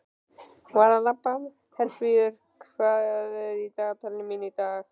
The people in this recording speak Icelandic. Herfríður, hvað er í dagatalinu mínu í dag?